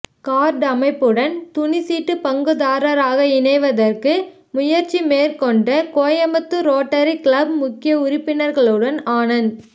card அமைப்புடன் துணி seat பங்குதாரராக இணைவதற்கு முயற்சி மேற்கொண்ட கோயமுத்தூர் ரோட்டரி கிளப் முக்கிய உறுப்பினர்களுடன் ஆனந்த்